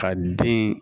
Ka den